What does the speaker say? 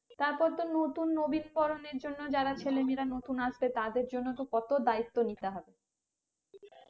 তারপর তো নতুন নবীন বরনের জন্য যারা ছেলেমেয়েরা নতুন আসবে তাদের জন্য তো কত দায়িত্ব নিতে হবে